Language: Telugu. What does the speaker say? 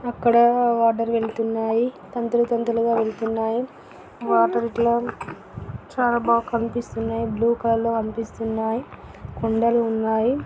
అక్కడ వాటర్ వెళ్తున్నాయి తంతులు తంతులుగ వెళ్తున్నాయి వాటర్ లో చాల బాగ కనిపిస్తునాయి బ్లూ కలర్ లో కనిపిస్తునాయి కొండలు ఉన్నాయి.